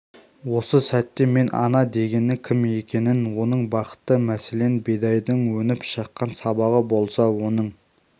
осы сәтте мен ана дегеннің кім екенін оның бақыты мәселен бидайдың өніп шыққан сабағы болса оның